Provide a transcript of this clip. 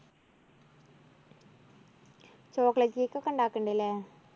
chocolate cake ഒക്കെ ഉണ്ടാക്ക്ണ്ട് ഇല്ലേ?